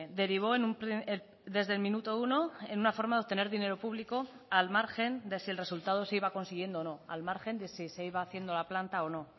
derivó desde el minuto uno en una forma de obtener dinero público al margen de si el resultado se iba consiguiendo o no al margen de si se iba haciendo la planta o no